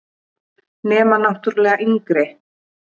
Nema náttúrlega yngri.